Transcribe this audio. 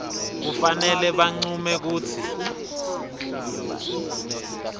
kufanele bancume kutsi